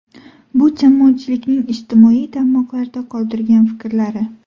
Bu jamoatchilikning ijtimoiy tarmoqlarda qoldirgan fikrlari.